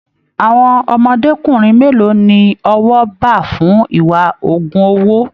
Àwọn ọmọdékunrin mélòó ní ọwọ bá fún ìwà ogún owó?